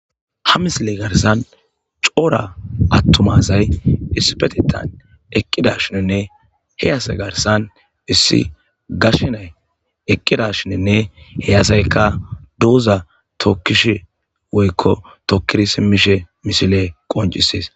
ha misiley garsan coora attumazay issipetetan eqqida shinenne heyase garsan issi gashenay eqqida shinenne heyasaykka douza tokkish woykko tokkiri simmishe misile qoncisees